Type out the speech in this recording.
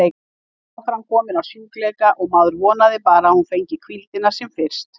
Hún var aðframkomin af sjúkleika og maður vonaði bara að hún fengi hvíldina sem fyrst.